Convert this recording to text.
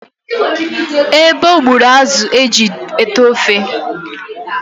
Ebo gbụrụ azụ e ji tee ofe